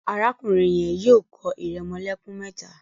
Arákùnrin yen yóò kọ iremolekun méta.